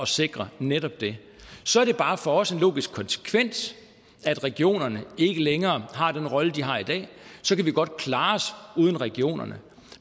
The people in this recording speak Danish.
sikre netop det så er det bare for os en logisk konsekvens at regionerne ikke længere har den rolle de har i dag så kan vi godt klare os uden regionerne